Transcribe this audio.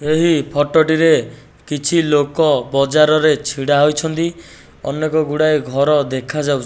ଏହି ଫଟ ଟିରେ କିଛି ଲୋକ ବଜାରରେ ଛିଡ଼ା ହୋଇଛନ୍ତି। ସ ଅନେକ ଗୁଡ଼ିଏ ଘର ଦେଖାଯାଉ --